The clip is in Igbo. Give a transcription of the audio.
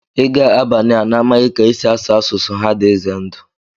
ịga Abaniia n'amaghị ka e si asụ asụsụ ha dị ize ndụ